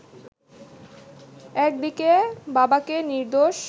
একদিকে বাবাকে নির্দোষ